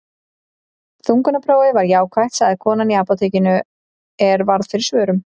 Þungunarprófið var jákvætt, sagði kona í apótekinu er varð fyrir svörum.